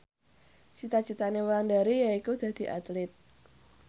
cita citane Wulandari yaiku dadi Atlit